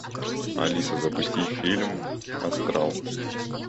алиса запусти фильм астрал